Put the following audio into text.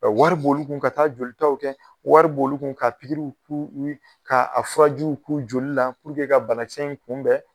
Wari b'olu kun ka taa joli taw kɛ wari b'olu kun ka pikiriw kun ka a fura jiw k'u joli la ka bana kissɛ in kunbɛn.